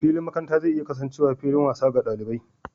Filin makaranta zai iya kasancewa fillin wasa ga ɗalibai.